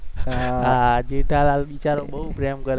હા જેઠાલાલ બિચારો બોવ પ્રેમ કરે